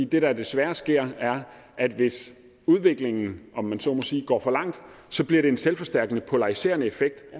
det der desværre sker er at hvis udviklingen om man så må sige går for langt bliver det en selvforstærkende polariserende effekt